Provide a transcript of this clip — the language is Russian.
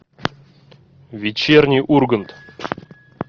вечерний ургант